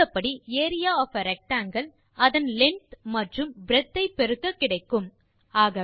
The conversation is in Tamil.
தெரிந்தபடி ஏரியா ஒஃப் ஆ ரெக்டாங்கில் அதன் லெங்த் மற்றும் பிரெட்த் ஐ பெருக்க கிடைப்பது